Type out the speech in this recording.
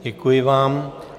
Děkuji vám.